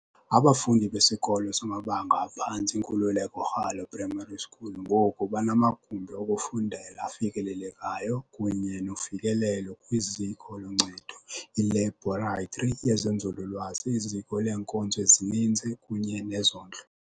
Abafundi beSikolo samaBanga aphantsi iNkululeko Ralo Primary School ngoku banamagumbi okufundela afanelekileyo kunye nofikelelo kwiziko loncedo, ilebhoratri yezenzululwazi, iziko leenkonzo ezininzi kunye nezondlo.